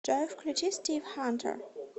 джой включи стив хантер